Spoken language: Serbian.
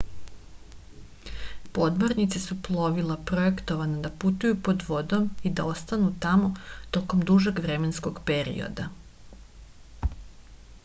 podmornice su plovila projektovana da putuju pod vodom i da ostanu tamo tokom dužeg vremenskog perioda